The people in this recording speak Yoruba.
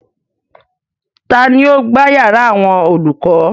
Tani ó gbá yàrá àwọn olùkọ́?